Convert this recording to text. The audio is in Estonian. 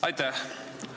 Aitäh!